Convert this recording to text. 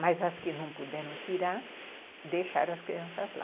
Mas as que não puderam tirar, deixaram as crianças lá.